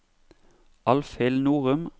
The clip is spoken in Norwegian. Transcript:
Alfhild Norum